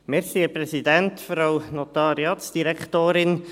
Kommissionssprecher der JuKo.